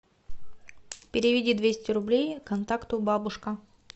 переведи двести рублей контакту бабушка